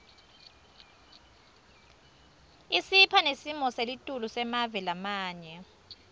isipha nesimoselitulu semave lamanye